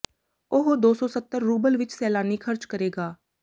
ਉਹ ਦੋ ਸੌ ਸੱਤਰ ਰੂਬਲ ਵਿਚ ਸੈਲਾਨੀ ਖ਼ਰਚ ਕਰੇਗਾ